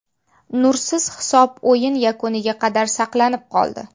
Nursiz hisob o‘yin yakuniga qadar saqlanib qoldi.